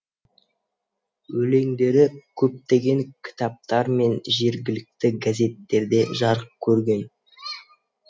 өлеңдері көптеген кітаптар мен жергілікті газеттерде жарық көрген